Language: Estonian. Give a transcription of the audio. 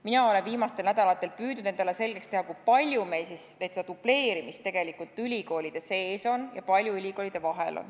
Mina olen viimastel nädalatel püüdnud endale selgeks teha, kui palju meil siis dubleerimist tegelikult on ülikoolide sees ja ülikoolide vahel.